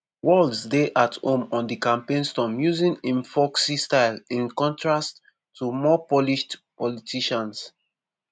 walz dey at home on di campaign stump using im folksy style in contrast to more polished politicians.